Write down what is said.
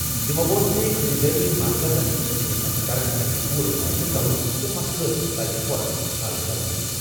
تٔمۍ ووٚن زِ خٔریٖدٲری مرکزَن ہٕنٛدٮ۪ن افسرَن پَزِ پوٗرٕ معٲینہٕ کرُن تہٕ مسلہٕ پَزِ فوراً حل کرُن۔